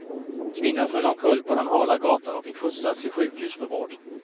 Kvinnan föll omkull på den hala gatan och fick skjutsas till sjukhus för vård.